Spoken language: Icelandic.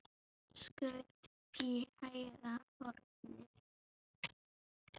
Skaut í hægra hornið.